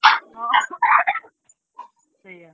ହଁ ସେୟା।